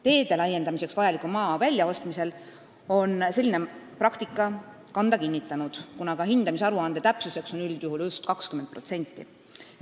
Teede laiendamiseks vajaliku maa väljaostmisel on selline praktika kanda kinnitanud, kuna ka hindamisaruande täpsuseks on üldjuhul just 20%.